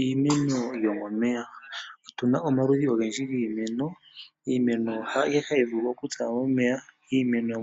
Iimeno yomomeya. Otuna omaludhi ogendji giimeno, iimeno haayihe hayi vulu okutsa